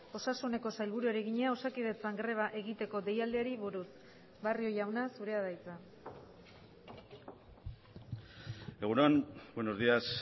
osasuneko sailburuari egina osakidetzan greba egiteko deialdiari buruz barrio jauna zurea da hitza egun on buenos días